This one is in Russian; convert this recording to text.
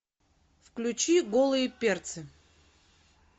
включи голые перцы